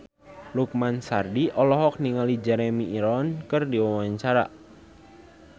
Lukman Sardi olohok ningali Jeremy Irons keur diwawancara